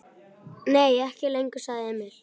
Nei, ekki lengur, sagði Emil.